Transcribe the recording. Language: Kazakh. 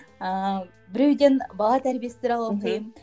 ыыы біреуден бала тәрбиесі туралы оқимын мхм